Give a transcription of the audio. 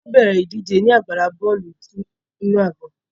A yóò bẹrẹ idije ni agbala bọọlu inu agbọn